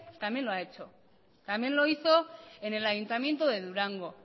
también lo ha hecho también lo hizo en el ayuntamiento de durango